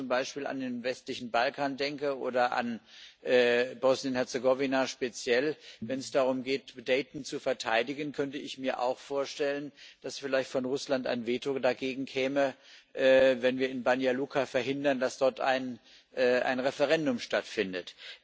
Wenn ich jetzt zum Beispiel an den westlichen Balkan denke oder speziell an Bosnien und Herzegowina Wenn es darum geht, Dayton zu verteidigen, könnte ich mir auch vorstellen, dass vielleicht von Russland ein Veto dagegen käme, wenn wir in Banja Luka verhindern, dass dort ein Referendum stattfindet.